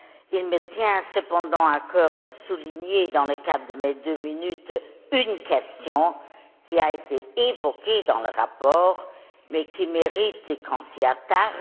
Il me tient cependant à cœur de souligner, dans le cadre de mes deux minutes, une question qui a été évoquée dans le rapport, mais qui mérite qu'on s'y attarde.